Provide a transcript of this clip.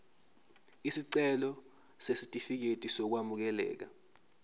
isicelo sesitifikedi sokwamukeleka